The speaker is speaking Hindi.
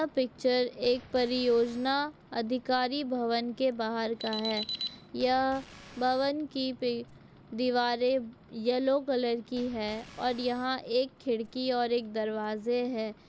ये पिक्चर एक परियोजना अधिकारी भवन की बाहर का है यह भवन की दीवारे येलो कलर की है और यहाँ खिड़की और दरवाज़े है।